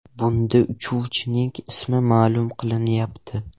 Bunda uchuvchining ismi ma’lum qilinmayapti.